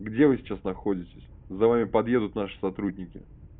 где вы сейчас находитесь за вами подъедут наши сотрудники